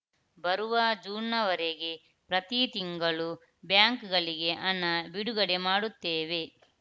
ಬರುವ ಜೂನ್‌ವರೆಗೆ ಪ್ರತಿ ತಿಂಗಳು ಬ್ಯಾಂಕ್‌ಗಳಿಗೆ ಹಣ ಬಿಡುಗಡೆ ಮಾಡುತ್ತೇವೆ